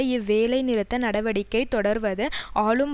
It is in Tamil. இவ்வேலைநிறுத்த நடவடிக்கை தொடர்வது ஆளும்